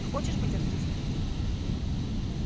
ты хочешь быть артисткой